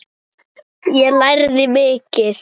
Ég lærði mikið.